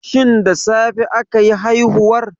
Shin da safe akayi haihuwar?